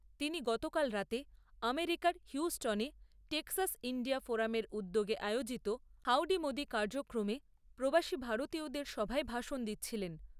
তিনি গতকাল রাতে আমেরিকার হিউস্টনে টেক্সাস ইণ্ডিয়া ফোরামের উদ্যোগে আয়োজিত হাউডি মোদি কার্যক্রমে প্রবাসী ভারতীয়দের সভায় ভাষণ দিচ্ছিলেন।